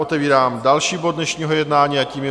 Otevírám další bod dnešního jednání a tím je